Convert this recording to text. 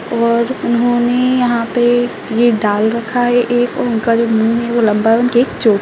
और उन्होंने यहाँ पे ये डाल रखा है एक उनका जो मुँह है वो लम्बा हैउनके एक चो --